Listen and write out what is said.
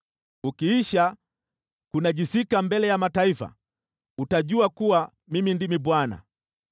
Ukiisha kunajisika mbele ya mataifa, utajua kuwa Mimi ndimi Bwana .’”